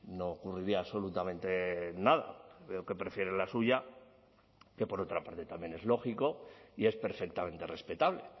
no ocurriría absolutamente nada veo que prefiere la suya que por otra parte también es lógico y es perfectamente respetable